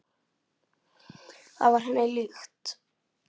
Það var henni líkt.